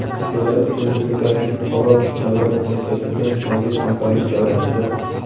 Belarus Respublikasining Polotsk davlat universiteti bilan mavjud hamkorlik doirasida.